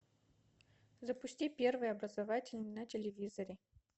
запусти первый образовательный на телевизоре